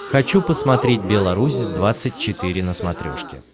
хочу посмотреть белорусь двадцать четыре на смотрешке